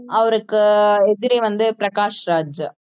அவருக்கு எதிரி வந்து பிரகாஷ்ராஜ்